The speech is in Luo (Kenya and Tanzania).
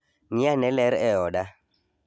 Ng'iane ler e oda.